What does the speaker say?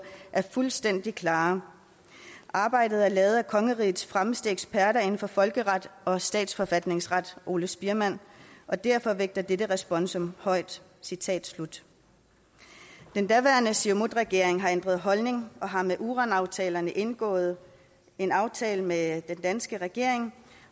er fuldstændig klare arbejdet er lavet af kongerigets fremmeste eksperter inden for folkeret og statsforfatningsret ole spiermann og derfor vægtes dette responsum højt citat slut den daværende siumutregering har ændret holdning og har med uranaftalen indgået en aftale med den danske regering